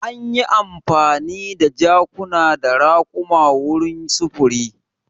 Anyi amfani da jakuna da raƙuma wurin sufuri.